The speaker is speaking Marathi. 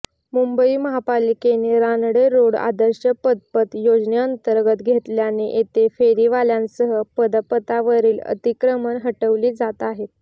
मुंबई महापालिकेने रानडे रोड आदर्श पदपथ योजनेअंतर्गत घेतल्याने येथे फेरीवाल्यांसह पदपथावरील अतिक्रमणे हटवली जात आहेत